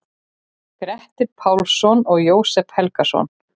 Grettir Pálsson og Jósep Helgason.